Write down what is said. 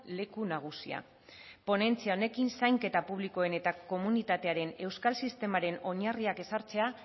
leku nagusia ponentzia honekin zainketa publikoen eta komunitatearen euskal sistemaren oinarriak ezartzea